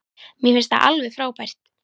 Mér finnst það alveg frábært.